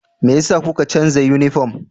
Me yasa kuka canza yunifom?